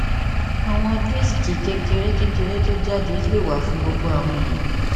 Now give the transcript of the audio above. awọn disk kekere kekere ti o jade le wa fun gbogbo awọn eniyan